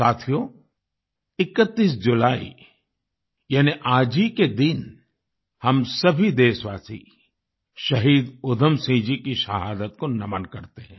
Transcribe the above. साथियो 31 जुलाई यानी आज ही के दिन हम सभी देशवासी शहीद उधम सिंह जी की शहादत को नमन करते हैं